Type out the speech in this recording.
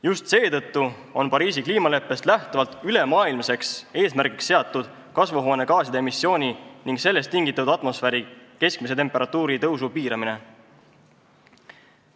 Just seetõttu on Pariisi kliimaleppest lähtuvalt ülemaailmseks eesmärgiks seatud kasvuhoonegaaside emissiooni ning sellest tingitud atmosfääri keskmise temperatuuri tõusu piiramine.